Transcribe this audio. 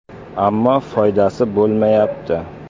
Ammo foydasi bo‘lmayapti.